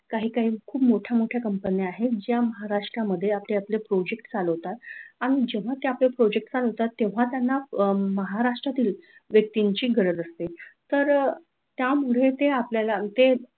काही काही खूप मोठ्या मोठ्या company आहेत ज्या महाराष्ट्रामध्ये आपले आपले project चालवतात आणि जेव्हा ते आपले project चालवतात तेव्हा त्यांना अह महाराष्ट्रातील व्यक्तीची गरज असते तर अह त्यामुळे ते आपल्याला